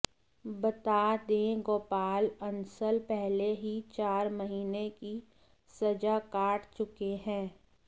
बता दें गोपाल अंसल पहले ही चार महीने की सजा काट चुके हैं